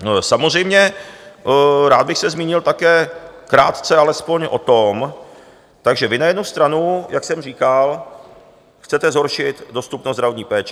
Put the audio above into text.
Samozřejmě rád bych se zmínil také krátce alespoň o tom - takže vy na jednu stranu, jak jsem říkal, chcete zhoršit dostupnost zdravotní péče.